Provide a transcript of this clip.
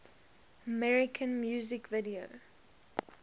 american music video